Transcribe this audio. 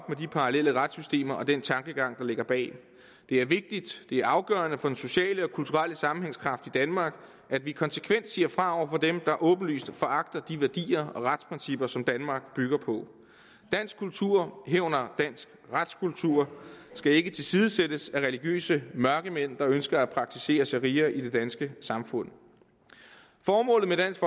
med de parallelle retssystemer og den tankegang der ligger bag det er vigtigt det er afgørende for den sociale og kulturelle sammenhængskraft i danmark at vi konsekvent siger fra over for dem der åbenlyst foragter de værdier og retsprincipper som danmark bygger på dansk kultur herunder dansk retskultur skal ikke tilsidesættes af religiøse mørkemænd der ønsker at praktisere sharia i det danske samfund formålet med dansk